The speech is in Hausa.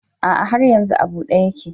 A'a har yanzu a bude yake.